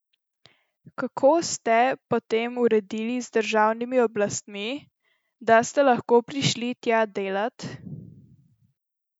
Kako ste potem uredili z državnimi oblastmi, da ste lahko prišli tja delat?